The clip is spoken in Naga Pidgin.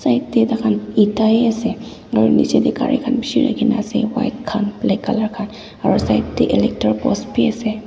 jatte tar khan eta he ase aru niche te gari bisi rakhi kina ase white khan black colour khan aru side te electric post khan bhi ase.